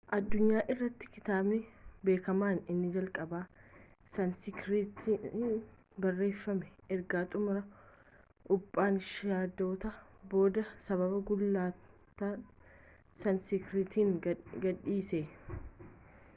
addunyaa irrattii kitaabni beekamaan inni jalqabaa saaniskiritiiin barreeffame erga xumura upanishaadotaa booda sababa gulantaan saaniskiritiin gadhiise